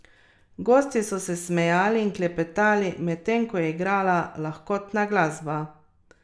Skoraj tisoč smrtnih žrtev je rezultat tudi zadnje vročinske katastrofe v Pakistanu.